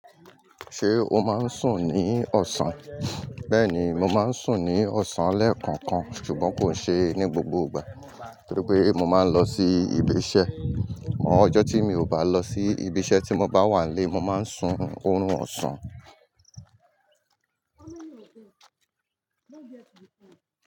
Ṣé o máa ń sùn ní ọ̀sán? Bẹ́ẹ̀ni, mo máa ń sùn ní ọ̀sán lẹ́ẹ̀kookan ṣùgbọ́n kò ṣe ní gbogbo ìgbà nítorí pé mo máa ń lọ sí ibi iṣẹ́. Ọjọ́ tí mi ò bá lọ sí ibi iṣẹ́ tí mo bá wà ilé, mo máa ń sun òórùn ọ̀sán. How many of them? Don't get to the point.